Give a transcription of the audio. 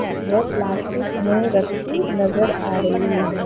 वो प्लास्टिक में रखी नज़र आ रही है।